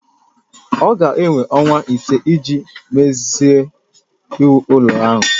Ọ ga-ewe ọnwa ise iji mezue iwu ụlọ ahụ